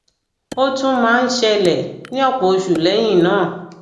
ó tún máa ń ṣẹlẹ ní ọpọ oṣù lẹyìn náà